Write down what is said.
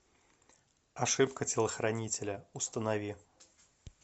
ошибка телохранителя установи